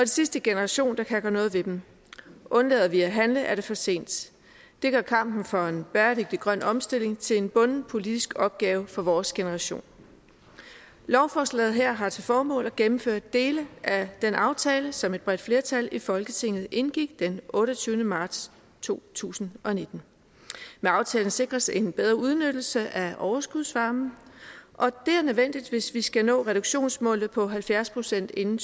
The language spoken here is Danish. sidste generation der kan gøre noget ved dem undlader vi at handle er det for sent det gør kampen for en bæredygtig grøn omstilling til en bunden politisk opgave for vores generation lovforslaget her har til formål at gennemføre dele af den aftale som et bredt flertal i folketinget indgik den otteogtyvende marts to tusind og nitten med aftalen sikres en bedre udnyttelse af overskudsvarmen og det er nødvendigt hvis vi skal nå reduktionsmålet på halvfjerds procent inden